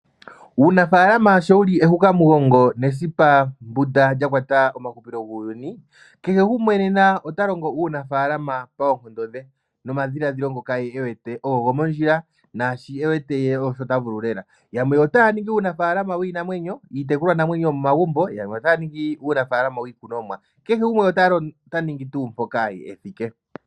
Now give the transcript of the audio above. Uunafalama sho wuli ehuka mugongo lya kola kehe gumwe nena ota longo uunafalama koonkondo dhe nomadhilaadhilo gw ngoka enter gomondjila go ogo ta vulu yamwe otaa ningi uunamapya nuunimuna.